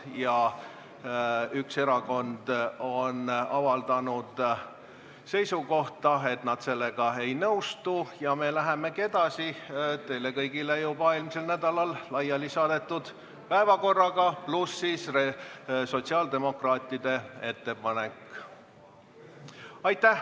Kuna üks erakond on avaldanud seisukohta, et nad sellega ei nõustu, siis me läheme edasi teile kõigile juba eelmisel nädalal laiali saadetud päevakorraga, pluss sotsiaaldemokraatide ettepanek.